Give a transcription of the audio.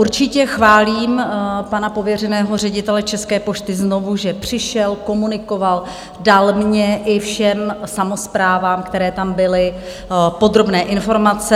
Určitě chválím pana pověřeného ředitele České pošty znovu, že přišel, komunikoval, dal mně i všem samosprávám, které tam byly, podrobné informace.